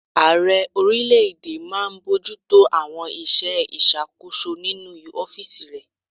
Ààrẹ orílẹ̀-èdè máa n bojútó àwọn iṣẹ́ ìṣàkóso nínu ọ́fìsì rẹ̀